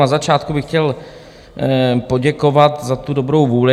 Na začátku bych chtěl poděkovat za tu dobrou vůli.